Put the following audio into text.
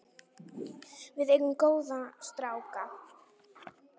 Við eigum góða stráka.